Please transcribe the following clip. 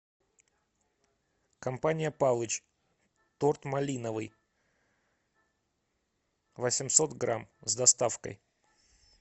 компания палыч торт малиновый восемьсот грамм с доставкой